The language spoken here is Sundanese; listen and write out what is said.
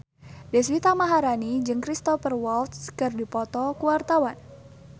Deswita Maharani jeung Cristhoper Waltz keur dipoto ku wartawan